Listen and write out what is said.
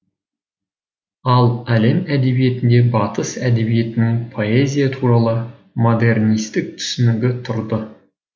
ал әлем әдебиетінде батыс әдебиетінің поэзия туралы модернистік түсінігі тұрды